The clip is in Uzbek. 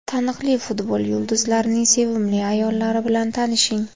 Taniqli futbol yulduzlarining sevimli ayollari bilan tanishing .